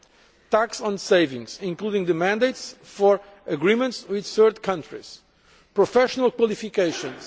a tax on savings, including mandates for agreements with third countries professional qualifications